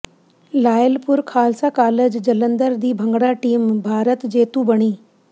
Lyallpur Khalsa college Jalandhar ਦੀ bhangra team Bharat ਜੇਤੂ ਬਣੀ